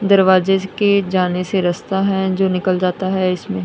दरवाजे के जाने से रास्ता है जो निकल जाता है इस--